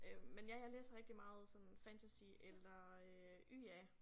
Øh men ja jeg læser rigtig meget sådan fantasy eller øh YA